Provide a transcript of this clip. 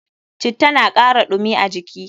Citta na kara ɗumi a jiki.